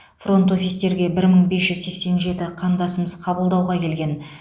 фронт офистерге бір мың бес жүз сексен жеті қандасымыз қабылдауға келген